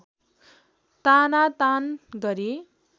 तानातान गरी